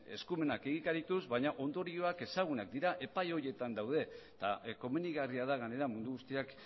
eskumenak egikarituz ditut baina ondorioak ezagunak dira epai horietan daude eta komenigarria da gainera mundu guztiak